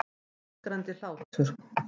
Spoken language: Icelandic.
Og ískrandi hlátur.